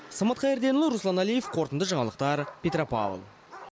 самат қайырденұлы руслан әлиев қорытынды жаңалықтар петропавл